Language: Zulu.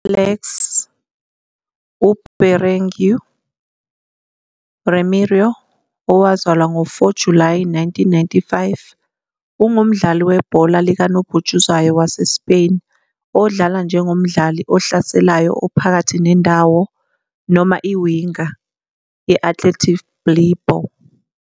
Alex UBerenguer Remiro, owazalwa ngo-4 July 1995, ungumdlali webhola likanobhutshuzwayo waseSpain odlala njengomdlali ohlaselayo ophakathi nendawo noma i-winger ye-Athletic Bilbao.